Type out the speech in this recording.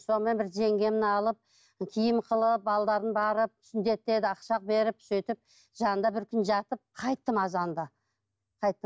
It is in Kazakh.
сонымен бір жеңгемді алып киім қылып балаларым барып сүндетке ақша беріп сөйтіп жанында бір күн жатып қайттым азанда қайттым